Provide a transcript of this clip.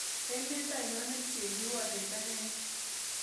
Emet ainon nepchee kiwotet ak kenya